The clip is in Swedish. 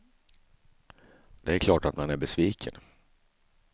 Det är klart att man är besviken.